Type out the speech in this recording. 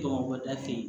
Tɔmɔ bɔ da fɛ